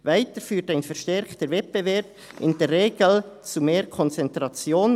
Weiter führt ein verstärkter Wettbewerb in der Regel zu mehr Konzentration.